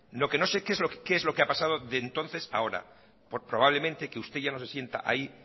lo que no sé qué es lo que ha pasado de entonces a ahora probablemente que usted ya no se sienta ahí